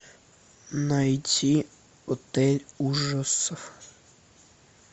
найти отель ужасов